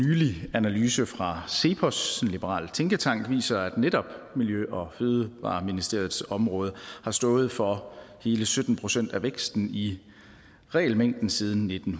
analyse fra cepos en liberal tænketank viser at netop miljø og fødevareministeriets område har stået for hele sytten procent af væksten i regelmængden siden nitten